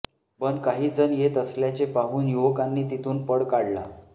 पण काही जण येत असल्याचे पाहून युवकांनी तिथून पळ काढला